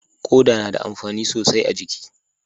Koda na da amfani sosai a jiki